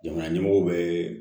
Jamana ɲɛmɔgɔw bɛ